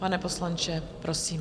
Pane poslanče, prosím.